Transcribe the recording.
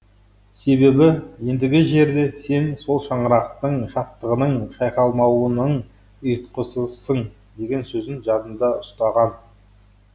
себебі ендігі жерде сен сол шаңырақтың шаттығының шайқалмауының ұйытқысысың деген сөзін жадында ұстаған